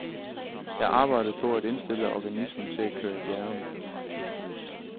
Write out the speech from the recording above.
Jeg arbejdede på at indstille organismen til at køre i bjergene.